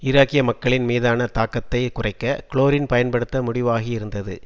ஈராக்கிய மக்களின் மீதான தாக்கத்தை குறைக்க குளோரின் பயன்படுத்த முடிவாகியிருந்தது